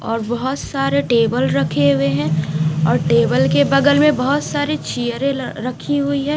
और बहुत सारे टेबल रखे हुए है और टेबल के बगल मे बहुत सारी चेयरे रखी हुई है।